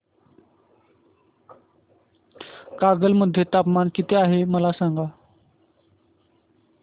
कागल मध्ये तापमान किती आहे मला सांगा